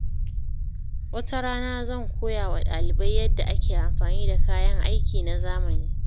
Wata rana, zan koya wa ɗalibai yadda ake amfani da kayan aiki na zamani.